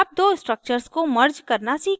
अब दो structures को merge करना सीखते हैं